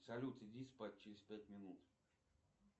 салют иди спать через пять минут